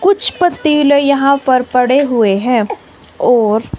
कुछ पतीले यहां पर पड़े हुए है और--